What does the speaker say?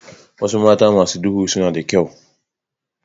Wasu mata masu duhu suna da kyau.